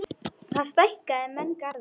Þar stækka menn garða.